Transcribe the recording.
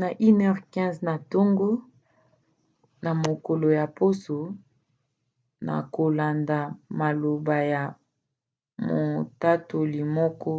na 1:15 na ntongo na mokolo ya poso na kolanda maloba ya motatoli moko